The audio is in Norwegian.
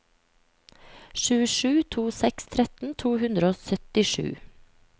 sju sju to seks tretten to hundre og syttisju